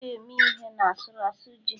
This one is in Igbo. a na-eji ji eme ihe n' asụru asu ji